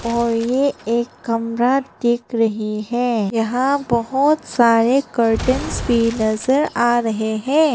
और ये एक कमरा देख रही है यहां बहुत सारे कार्टंस भी नजर आ रहे हैं।